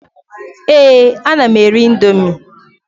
Èé, ana m eri ị̀ndómị́.